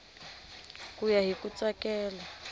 ku ya hi ku tsakela